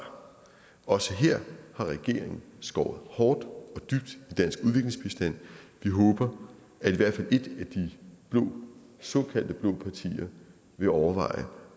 også her har regeringen skåret hårdt og dybt i dansk udviklingsbistand vi håber at i hvert fald et af de såkaldte blå partier vil overveje